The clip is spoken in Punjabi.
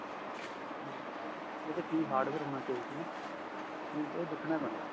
ਉਹਦੇ ਕਿ hardware ਹੋਣਾ ਚਾਹੀਦਾ ਨਾ ਏਹ ਦੇਖਣਾ ਪੈਣਾ